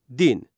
Din.